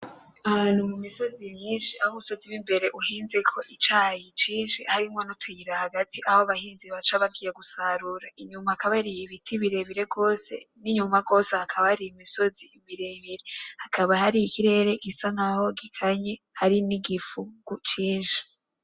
Ahantu mu misozi myinshi, aho umusozi w'imbere uhinzeko icayi cinshi harimwo n'utuyira hagati aho abahinzi baca bagiye gusarura, inyuma hakaba hari ibiti birebire gose; n'inyuma gose hakaba hari imisozi miremire. Hakaba hari ikirere gisa nkaho gikanye hari n'igifungu cinshi.